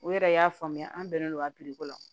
U yɛrɛ y'a faamuya an bɛnnen don a ka la